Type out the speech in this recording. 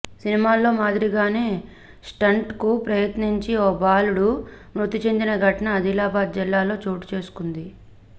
సినిమాల్లో మాదిరిగా స్టంట్ కు ప్రయత్నించి ఓ బాలుడు మృతిచెందిన ఘటన ఆదిలాబాద్ జిల్లాలో చోటుచేసుకుంది